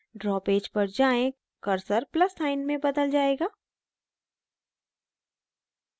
draw page पर जाएँ cursor plus sign में बदल जायेगा